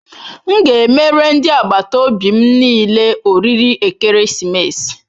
M ga emere ndi agbataobi m niile oriri ekeresimesi.